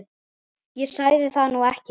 Ég sagði það nú ekki